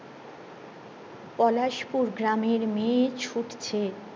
পলাশ পুর গ্রামের মেয়ে ছুটছে